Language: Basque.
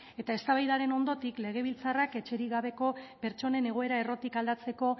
eta eztabaidaren ondotik legebiltzarrak etxerik gabeko pertsonen egoera errotik aldatzeko